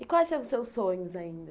E quais são os seus sonhos ainda?